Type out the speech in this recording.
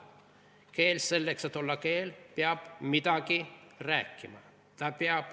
"Keel, selleks et olla keel, peab midagi rääkima.